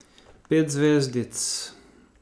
Pet zvezdic.